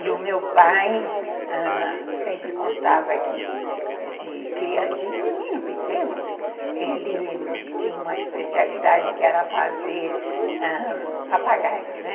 E o meu pai, ãh, sempre contava que, de cri de menino pequeno, ele tinha uma especialidade que era fazer ãh... papagaio, né?